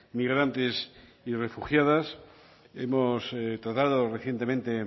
migrantes y refugiadas hemos tratado recientemente